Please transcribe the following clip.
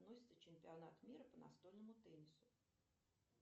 чемпионат мира по настольному теннису